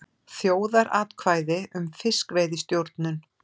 Þjóðaratkvæði um fiskveiðistjórnun